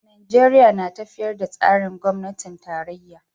Najeriya na tafiyar da tsarin gwamnatin tarayya.